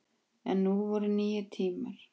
En nú voru nýir tímar.